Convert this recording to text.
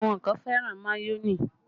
Àwọn kan fẹ́ràn mayonẹ